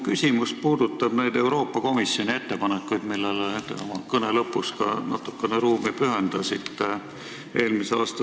Mu küsimus puudutab neid Euroopa Komisjoni mullu detsembris tehtud ettepanekuid, millele te oma kõne lõpus ka natukene ruumi jätsite.